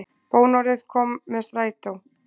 Bónorðið kom með strætó